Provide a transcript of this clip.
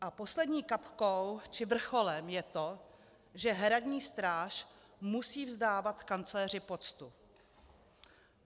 A poslední kapkou či vrcholem je to, že hradní stráž musí vzdávat kancléři poctu.